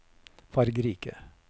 fargerike